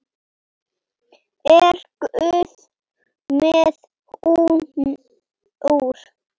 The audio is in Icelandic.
Er Guð með húmor?